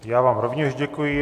Já vám rovněž děkuji.